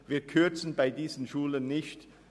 Wir kürzen bei diesen Schulen nicht.